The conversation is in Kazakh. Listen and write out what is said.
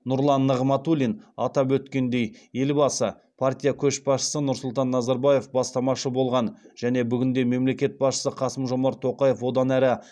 нұрлан нығматулин атап өткендей елбасы партия көшбасшысы нұрсұлтан назарбаев бастамашы болған және бүгінде мемлекет басшысы қасым жомарт тоқаев одан әрі